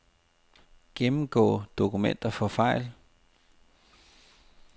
Gennemgå dokumenter for fejl.